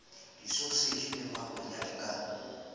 disoseji le makwenya di ka